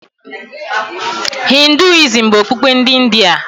Hinduism bụ okpukpe ndị India.